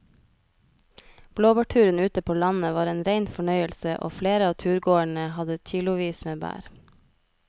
Blåbærturen ute på landet var en rein fornøyelse og flere av turgåerene hadde kilosvis med bær.